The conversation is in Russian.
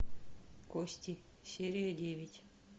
кости серия девять